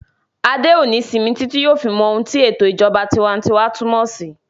Adé ò ní sinmi títí yóò fi mọ ohun tí ètò ìṣèjọba tinwatinwa túnmọ̀ sí